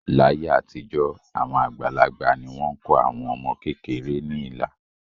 Láyé àtijọ́, àwọn àgbàlagbà ni wọ́n kọ àwọn ọmọ kéékèèké ní ilà